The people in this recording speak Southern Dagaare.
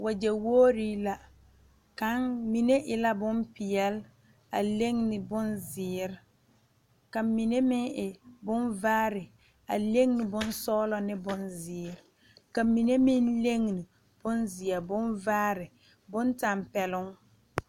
Wagye wore la kaŋ mine e la bonpeɛle a lene bonziiri ka mine meŋ e bonvaare a lene bonsɔglɔ ane bonziiri ka mine meŋ lene bonziɛ bonvaare bontanpeloŋ.